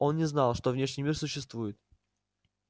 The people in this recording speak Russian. он не знал что внешний мир существует